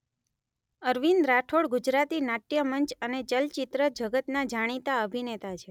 અરવિંદ રાઠોડ ગુજરાતી નાટ્યમંચ અને ચલચિત્ર જગતના જાણીતા અભિનેતા છે